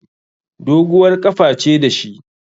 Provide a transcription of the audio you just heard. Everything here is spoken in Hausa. Doguwar ƙafa ce da shi